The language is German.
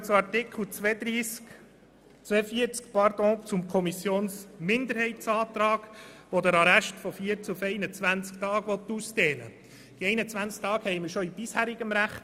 Zum Antrag der Kommissionsminderheit zu Artikel 42: Die 21 Tage bestehen bereits im bisherigen Recht.